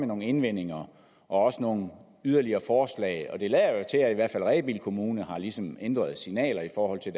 nogle indvendinger og også nogle yderligere forslag det lader jo til at i hvert fald rebild kommune ligesom har ændret signaler i forhold til